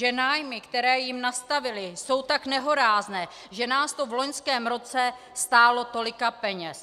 Že nájmy, které jim nastavili, jsou tak nehorázné, že nás to v loňském roce stálo tolika peněz.